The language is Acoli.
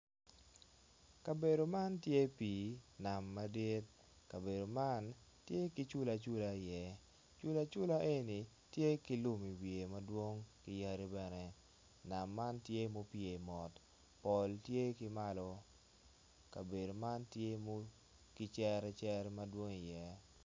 Kabedo man tye pii nam madit kabedo man tye ki cula cula iye cula cula eni tye ki lum i iwiye madwong ki yadi bene nam man tye mupye mot pol tye ki malo kabedo man tye ki cere cere madwong i iye